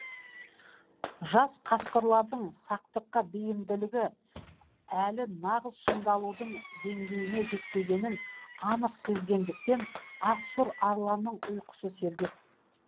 жас қасқырлардың сақтыққа бейімділігі әлі нағыз шыңдалаудың деңгейіне жетпегенін анық сезгендіктен ақсұр арланның ұйқысы сергек